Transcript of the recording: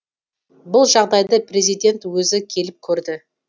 бұл жағдайды президент өзі келіп көрді